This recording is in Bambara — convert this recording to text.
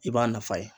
I b'a nafa ye